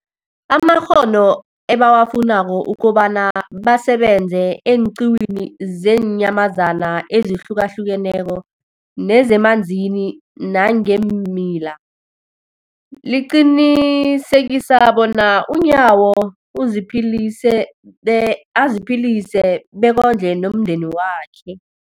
amakghono ebawafunako ukobana basebenze eenqiwini zeenyamazana ezihlukahlukeneko nezemanzini nangeemila, liqinisekisa bona uNyawo uziphilise be aziphilise bekondle nomndenakhe.